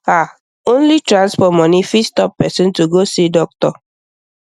ah only transport money fit stop person to go see doctor